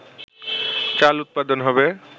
চাল উৎপাদন হবে